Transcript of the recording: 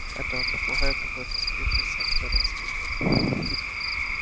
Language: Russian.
этого попугая какой-то спившийся актёр воспитывал